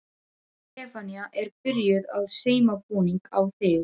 Stefanía er byrjuð að sauma búning á þig.